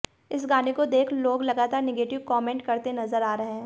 इस गाने को देख लोग लगातार नेगेटिव कॉमेंट करते नजर आ रहे हैं